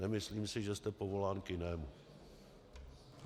Nemyslím si, že jste povolán k jinému.